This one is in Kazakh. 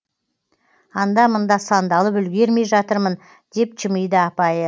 анда мында сандалып үлгермей жатырмын деп жымиды апайы